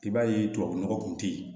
I b'a ye tubabu nɔgɔ kun tɛ yen